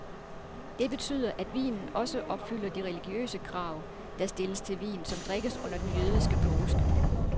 Det betyder, at vinen også opfylder de religiøse krav, der stilles til vin, som drikkes under den jødiske påske.